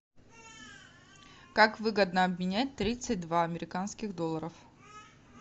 как выгодно обменять тридцать два американских долларов